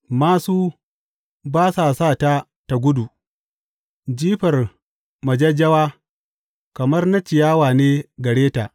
Māsu ba su sa ta tă gudu; jifar majajjawa kamar na ciyawa ne gare ta.